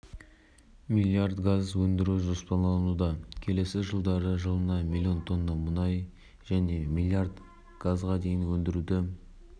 ағымдағы жылдың соңына дейін млн тонна мұнай және млн газға жуық жылы млн тонна мұнай және